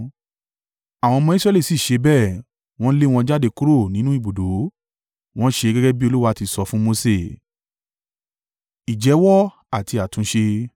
Àwọn ọmọ Israẹli sì ṣe bẹ́ẹ̀; wọ́n lé wọn jáde kúrò nínú ibùdó. Wọn ṣe gẹ́gẹ́ bí Olúwa ti sọ fún Mose.